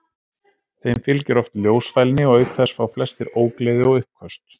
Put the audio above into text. Þeim fylgir oft ljósfælni og auk þess fá flestir ógleði og uppköst.